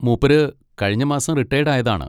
മൂപ്പര് കഴിഞ്ഞ മാസം റിട്ടയേഡ് ആയതാണ്.